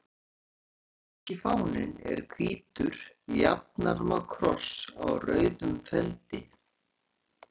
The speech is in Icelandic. Svissneski fáninn er hvítur jafnarma kross á rauðum feldi.